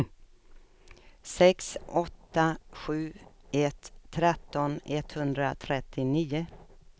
sex åtta sju ett tretton etthundratrettionio